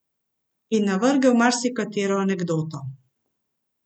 In navrgel marsikatero anekdoto.